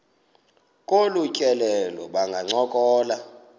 kolu tyelelo bangancokola